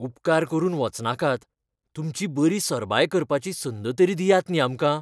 उपकार करून वचनाकात, तुमची बरी सरबाय करपाची संद तरी दियात न्ही आमकां.